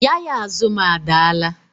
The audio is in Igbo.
Yaya azụ m adaala